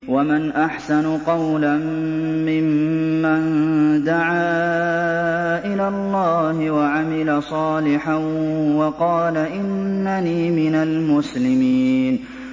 وَمَنْ أَحْسَنُ قَوْلًا مِّمَّن دَعَا إِلَى اللَّهِ وَعَمِلَ صَالِحًا وَقَالَ إِنَّنِي مِنَ الْمُسْلِمِينَ